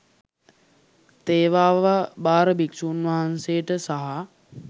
තේවාව භාර භික්‍ෂූන් වහන්සේට සහ